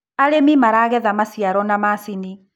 arĩmi maragetha maciaro na macinĩ